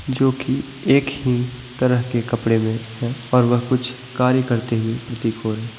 एक ही तरह के कपड़े मैं है और वह कुछ कार्य करते हुए प्रतीत हो रहे है।